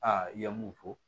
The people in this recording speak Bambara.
Aa i ye mun fɔ